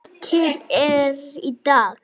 Leikið er í dag.